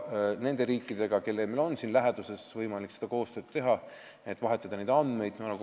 Nende riikidega, mis on siin läheduses, on meil võimalik koostööd teha, et neid andmeid vahetada.